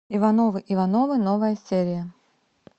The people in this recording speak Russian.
ивановы ивановы новая серия